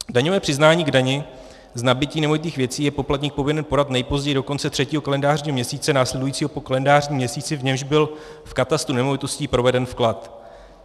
Daňové přiznání k dani z nabytí nemovitých věcí je poplatník povinen podat nejpozději do konce třetího kalendářního měsíce následujícího po kalendářním měsíci, v němž byl v katastru nemovitostí proveden vklad.